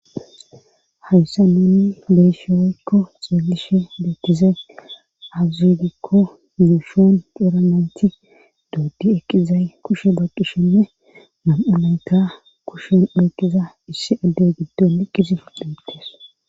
hayssa nuunni beeshe woykko xeelishe dekize auzidikko zuushon cieramenthi dooddi eqqizay kushe baqishenne nam7amayka kushen eekiza issi addey giddon iqqizi fudhamittes